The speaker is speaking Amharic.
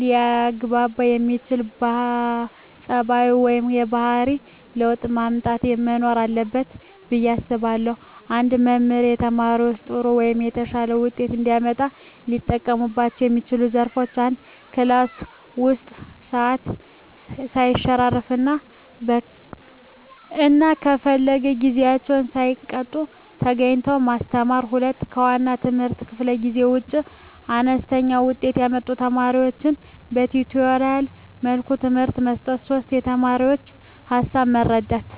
ሊያግባባ የሚያስችል ፀባዩ ወይም የባህሪ ለውጥ ማምጣት መኖር አለበት ብየ አስባለሁ። አንድ መምህር ተማሪዎቻቸው ጥሩ ወይም የተሻለ ውጤት እንዲያመጡ ሊጠቀሙባቸው የሚችሏቸው ዘዴዎች፦ 1, ክላስ ውስጥ ሰዓት ሰይሸራርፍ እና ከፈለ ጊዜአቸውን ሳይቀጡ ተገኝተው ማስተማር። 2, ከዋና የትምህርት ክፍለ ጊዜ ውጭ አነስተኛ ውጤት ያመጡ ተማሪዎቻቸውን በቲቶሪያል መልኩ ትምህርት መስጠት። 3, የተማሪዎቻቸውን ሀሳብ መረዳት